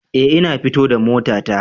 Eh, ina fita da motata